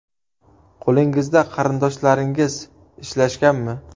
Qo‘lingizda qarindoshlaringiz ishlashganmi?